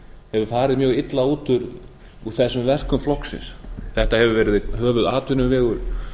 hefur farið mjög illa út úr þessum verkum flokksins þetta hefur verið einn höfuðatvinnuvegur